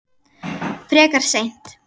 Frekar seint.